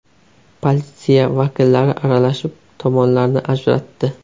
Politsiya vakillari aralashib, tomonlarni ajratdi.